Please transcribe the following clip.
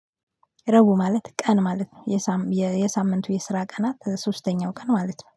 ረቡዕ ማለት ቀን ማለት ነው የሳምንቱ የስራ ቀናት ሶስተኛው ቀን ማለት ነው